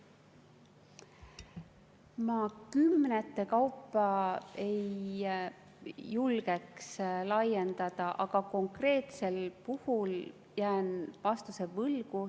Ma kümnete kaupa ei julgeks laiendada, aga konkreetsel puhul jään vastuse võlgu.